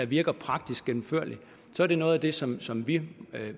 virker praktisk gennemførlig så er det noget af det som som vi